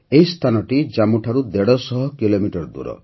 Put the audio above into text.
ଏହି ସ୍ଥାନଟି ଜାମ୍ମୁଠାରୁ ଦେଢ଼ ଶହ କିଲୋମିଟର ଦୂର